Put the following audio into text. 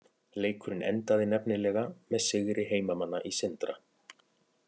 Leikurinn endaði nefnilega með sigri heimamanna í Sindra.